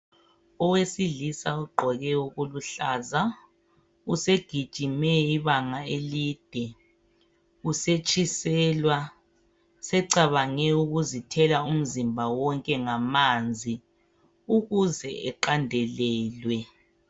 Owesilisa ugqoke okuluhlaza usegijime ibanga elide usetshiselwa. Secabange ukuzithela umzimba wonke ngamanzi ukuze eqandelelwe.